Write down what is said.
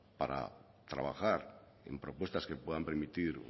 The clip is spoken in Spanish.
para trabajar en propuestas que puedan remitir